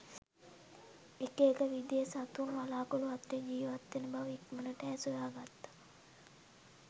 එක එක විදියේ සතුන් වළාකුළු අතරේ ජීවත්වෙන බවඉක්මනට ඈ සොයාගත්තා